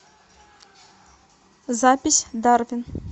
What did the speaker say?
запись дарвин